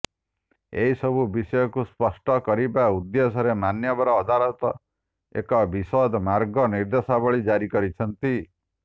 ଏ ସବୁ ବିଷୟକୁ ସ୍ପଷ୍ଟ କରିବା ଉଦ୍ଦେଶ୍ୟରେ ମାନ୍ୟବର ଅଦାଲତ ଏକ ବିଶଦ ମାର୍ଗ ନିର୍ଦ୍ଦେଶାବଳୀ ଜାରି କରିଛନ୍ତି